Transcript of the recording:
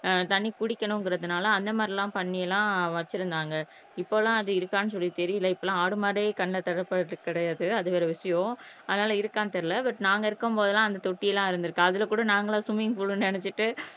ஆஹ் தண்ணி குடிக்கணுங்கறதனால அந்த மாதிரி எல்லாம் பண்ணி எல்லாம் வெச்சிருந்தாங்க இப்போ எல்லாம் அது இருக்கான்னு சொல்லி தெரியல இப்போ எல்லாம் ஆடு மாடே கண்ணுல படறது கிடையாது அது வேற விஷயம் அதனால இருக்கான்னு தெரியல பட் நாங்க இருக்கும்போதெல்லாம் அந்த தொட்டி எல்லாம் இருந்திருக்கு அதுல கூட நாங்க எல்லாம் ஸ்விம்மிங் பூல்னு நினைச்சுகிட்டு